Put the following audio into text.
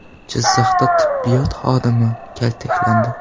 Jizzaxda tibbiyot xodimi kaltaklandi.